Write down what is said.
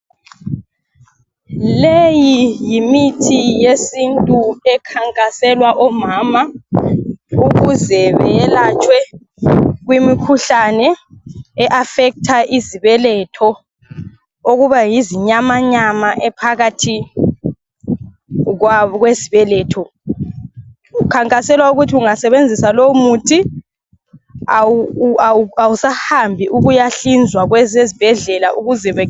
Leyi yimithi yesintu ekhankaselwa omama ukuze beyelatshwe kwimikhuhlane e affecter izibeletho. Okuba yizinyamanyama ephakathi kwab kwesibeletho. Kukhankaselwa ukuthi ungasebenzisa lowumuthi awu awu awusahambi ukuyahlinzwa kwezezbhedlela ukuze be